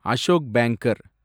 Ashok banker